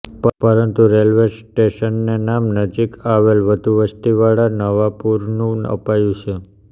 પરંતુ રેલ્વે સ્ટેશનને નામ નજીક આવેલા વધુ વસ્તીવાળા નવાપુરનું અપાયું છે